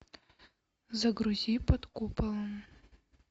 загрузи под куполом